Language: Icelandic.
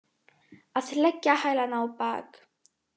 Að leggja hælana á bak